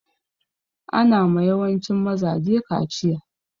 Ana ma yawancin mazaje kachiya.